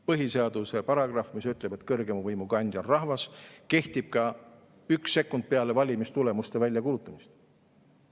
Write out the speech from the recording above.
Põhiseaduse paragrahv, mis ütleb, et kõrgeima võimu kandja on rahvas, kehtib ka üks sekund peale valimistulemuste väljakuulutamist.